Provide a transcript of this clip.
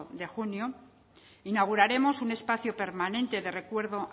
de junio inauguraremos un espacio permanente de recuerdo